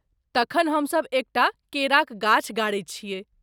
तखन, हमसभ एकटा केराक गाछ गाड़ैत छियैक ।